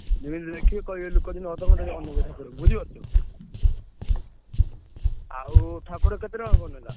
ଯେମିତି ଦେଖିବେ କହିବେ ଲୋକ ଯେମିତି ଅଧଘଣ୍ଟା ଯାଏ ଅନେଇବେ ଠାକୁରଙ୍କୁ ବୁଝିପାରୁଛ ନା? ଆଉ ଠାକୁର କେତେ ଟଙ୍କା କଣ ନେଲା?